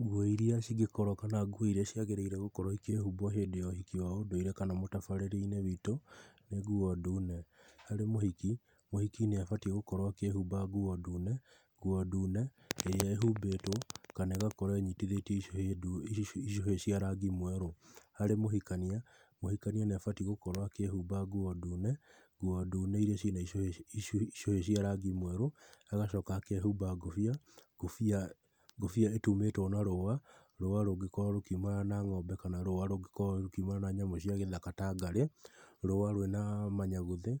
Nguo iria cingĩkorwo kana nguo iria ciagĩrĩire gũkorwo ikĩhumbwo hĩndĩ wa ũhiki wa ũndũire kana mũtabarĩre-inĩ witũ, nĩ nguo ndune. Harĩ mũhiki, mũhiki nĩ abatiĩ gũkorwo akĩhumba nguo ndune, nguo ndune ĩrĩa ĩhumbĩtwo kana ĩgakorwo ĩnyitithĩtio icũhĩ cia rangi mwerũ. Harĩ mũhikania, mũhikania nĩ abatiĩ gũkorwo akĩhumba nguo ndune, nguo ndune iria ciĩna icũhĩ cia rangi mwerũ, agacoka akehumba ngobia, ngobia ĩtumĩtwo na rũa, rũa rũngĩkorwo rũkiumana na ngombe kana rũa rũngĩkorwo rũkiumana na nyamũ cia gĩthaka ta ngarĩ, rũa rwĩna manyaguthĩ,